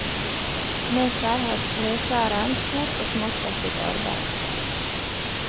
Med seg har treskjæreren stort og smått av sitt arbeid.